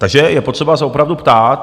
Takže je potřeba se opravdu ptát.